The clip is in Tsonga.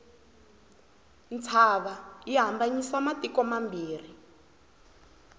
ntshava yi hambanyisa matiko mambirhi